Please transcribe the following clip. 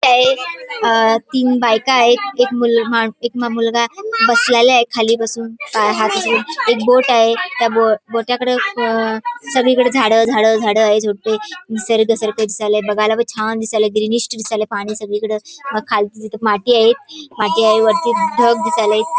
अ तीन बायका आहे एक मु मा एक मुलगा आहे बसलेला आहे खाली बसुन एक बोट आहे त्या बोटाकडे अ सगळीकड झाड झाड झाड आहे झुडपं निसर्ग निसर्ग दिसायला बघायला पण छान दिसायला ग्रिनिष्ठ दिसायला पाणी सगळीकड अ खालती तिथं माती आहे माती आहे वरती ढग दिसायला --